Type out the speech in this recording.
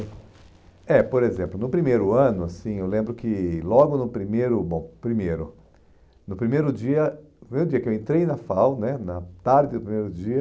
é, por exemplo, no primeiro ano, assim, eu lembro que logo no primeiro, bom, primeiro, no primeiro dia, no primeiro dia que eu entrei na FAU né, na tarde do primeiro dia,